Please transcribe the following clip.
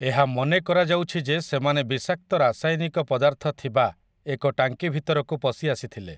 ଏହା ମନେକରାଯାଉଛି ଯେ ସେମାନେ ବିଷାକ୍ତ ରାସାୟନିକ ପଦାର୍ଥ ଥିବା ଏକ ଟାଙ୍କିଭିତରକୁ ପଶିଆସିଥିଲେ ।